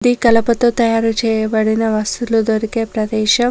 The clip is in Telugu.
ఇది కలపతో తయారుచేయబడిన వస్తువులు దొరికే ప్రదేశం.